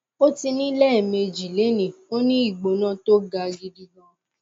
ó ti ní i lẹẹmejì lénìí ó ní ìgbóna tó ga gidi gan